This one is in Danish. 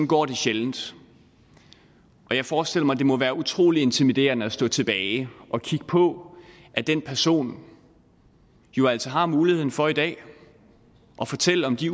går det sjældent og jeg forestiller mig at det må være utrolig intimiderende at stå tilbage og kigge på at den person jo altså har muligheden for i dag at fortælle om de